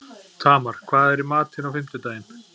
Tamar, hvað er í matinn á fimmtudaginn?